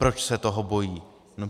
Proč se toho bojí?